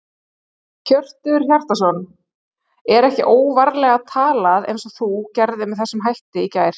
Hjörtur Hjartarson: Er ekki óvarlega talað eins og þú gerðir með þessum hætti í gær?